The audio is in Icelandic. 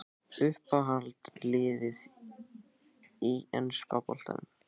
Uppáhald lið í enska boltanum?